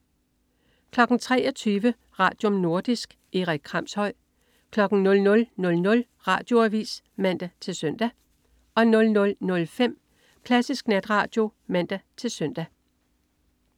23.00 Radium. Nordisk. Erik Kramshøj 00.00 Radioavis (man-søn) 00.05 Klassisk Natradio (man-søn)